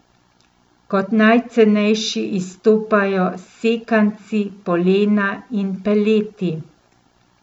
Kot najcenejši izstopajo sekanci, polena in peleti.